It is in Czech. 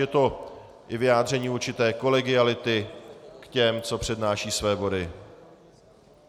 Je to i vyjádření určité kolegiality k těm, kdo přednášejí své body.